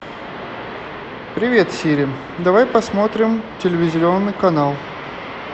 привет сири давай посмотрим телевизионный канал